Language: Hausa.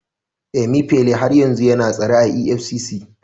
Emifele har yanzu yana tsare a EFCC.